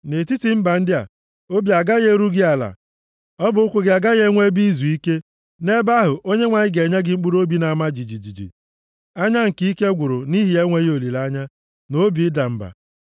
Nʼetiti mba ndị a, obi agaghị eru gị ala, ọbụ ụkwụ gị agaghị enwe ebe izuike. Nʼebe ahụ, Onyenwe anyị ga-enye gị mkpụrụobi na-ama jijiji, anya nke ike gwụrụ nʼihi enweghị olileanya, na obi na-ada mba.